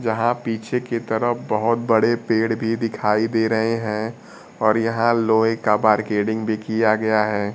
यहां पीछे की तरफ बहोत बड़े पेड़ भी दिखाई दे रहे हैं और यहां लोहे का मार्केटिंग भी किया गया है।